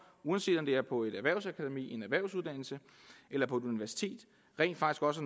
uanset om det er på et erhvervsakademi en erhvervsuddannelse eller på et universitet rent faktisk også